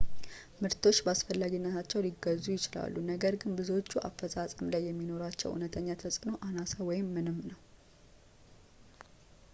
ምርቶች በአስፈላጊነታቸው ሊገዙ ይችላሉ ነገር ግን ብዙዎቹ አፈፃፀም ላይ የሚኖራቸው ዕውነተኛ ተፅዕኖ አናሳ ወይም ምንም ነው